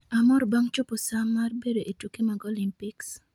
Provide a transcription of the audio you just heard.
Amor bang' chopo saa mar bedo ee tuke mag Olympics